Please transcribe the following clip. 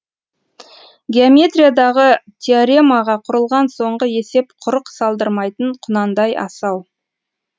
геометриядағы теоремаға құрылған соңғы есеп құрық салдырмайтын құнандай асау